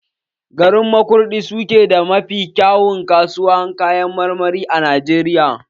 Garin Makurdi su ke da mafi kyauwan kasuwar Kayan marmari a Najeriya.